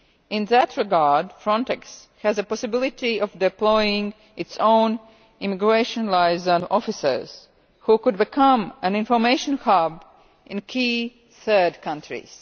In that regard, Frontex has the possibility of deploying its own Immigration Liaison Officers, who could become an information hub in key third countries.